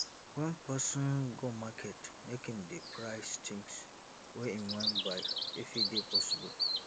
when person go market make im dey price things wey im wan buy if e dey possible